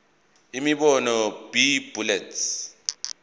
imibono b bullets